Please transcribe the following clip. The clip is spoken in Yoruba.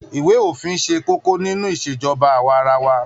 Iwe ofin se kókó nínú Ìṣèjọba awa-ara-wa.